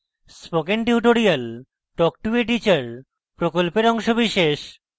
spoken tutorial talk to a teacher প্রকল্পের অংশবিশেষ